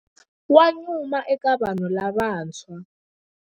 Wa nyuma eka vanhu lavantshwa.